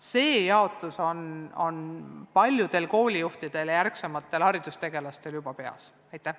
See jaotus on paljudel koolijuhtidel ja ärksamatel haridustegelastel juba peas olemas.